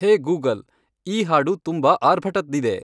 ಹೇ Google ಈ ಹಾಡು ತುಂಬಾ ಆರ್ಭಟದ್ದಿದೆ.